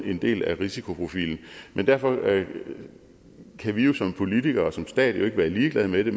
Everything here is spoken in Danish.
en del af risikoprofilen men derfor kan vi jo som politikere og som stat jo ikke være ligeglad med det